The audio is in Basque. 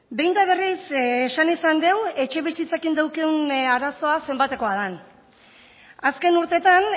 behin eta berriz esan izan deu etxebizitzakin daukeun arazoa zenbatekoa dan azken urteetan